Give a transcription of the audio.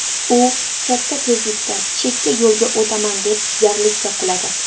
U katta tezlikda chekka yo‘lga o‘taman deb jarlikka quladi.